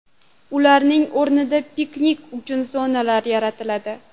Ularning o‘rnida piknik uchun zonalar yaratiladi.